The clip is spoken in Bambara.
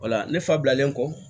O la ne fa bilalen kɔ